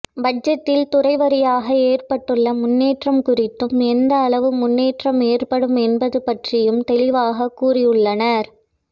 பட்ஜெட்டில் துறை வாரியாக ஏற்பட்டுள்ள முன்னேற்றம் குறித்தும் எந்த அளவு முன்னேற்றம் ஏற்படும் என்பது பற்றியும் தெளிவாக கூறியுள்ளனர்